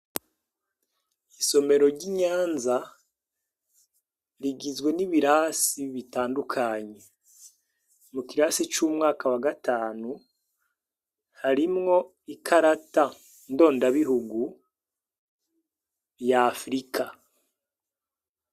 Isomero ry'iNyanza, rigizwe nibirasi bitandukanye. Mukirase c'umwaka wagatanu ,harimwo ikarata ndondabihugu ya afurika.